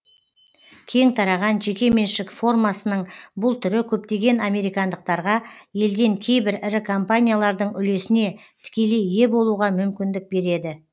кең тараған жеке меншік формасының бүл түрі көптеген американдықтарға елден кейбір ірі компаниялардың үлесіне тікелей ие болуға мүмкіндік береді